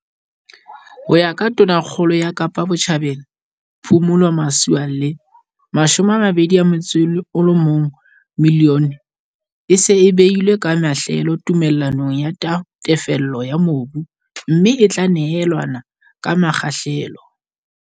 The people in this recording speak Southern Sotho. Ho ya ka Tonakgolo ya Kapa Botjhabela, Phumulo Masualle, R21 milione e se e beilwe ka mahlelo tume llanong ya tefello ya mobu, mme e tla neelanwa ka mekgahlelo.